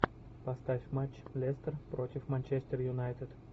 поставь матч лестер против манчестер юнайтед